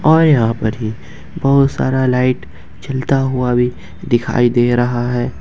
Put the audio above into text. और यहां पर ही बहुत सारा लाइट जलता हुआ भी दिखाई दे रहा है।